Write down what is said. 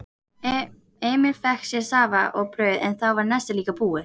Emil fékk sér safa og brauð en þá var nestið líka búið.